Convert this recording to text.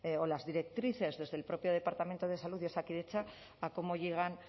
o las directrices desde el propio departamento de salud de osakidetza a cómo llegan